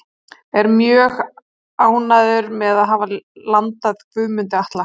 Ég er mjög ánægður með að hafa landað Guðmundi Atla.